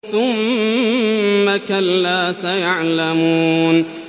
ثُمَّ كَلَّا سَيَعْلَمُونَ